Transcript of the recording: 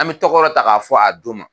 An bɛ tɔgɔ dɔ ta k'a fɔ a don ma